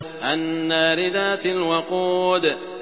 النَّارِ ذَاتِ الْوَقُودِ